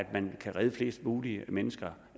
man kan redde flest mulige mennesker